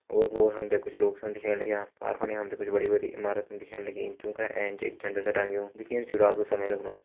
ओर-पोर हमथे कुछ लोग छन दिख्येण लग्यां पार फंडे हमथे कुछ बड़ी बड़ी ईमारतन दिखेण लगीं जूका एैंच एक झंडा सा टंग्यु दिखेण चु रात को समय लगणु।